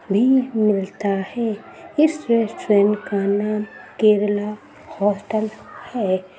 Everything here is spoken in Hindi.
फ्री मिलता है। इस रेस्टोरेंट का नाम केरला होटल है।